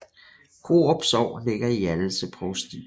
Korup Sogn ligger i Hjallese Provsti